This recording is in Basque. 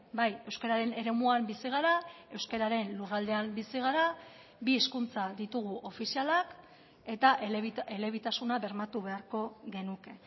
bai euskararen eremuan bizi gara euskararen lurraldean bizi gara bi hizkuntza ditugu ofizialak eta elebitasuna bermatu beharko genuke